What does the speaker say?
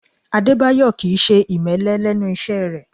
Adébáyọ̀ Kì í ṣe ìmẹ́lẹ́ lẹ́nu iṣẹ́ rẹ̀